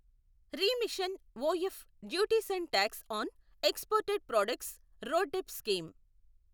remission of duties and tax on exported products RoDTEP scheme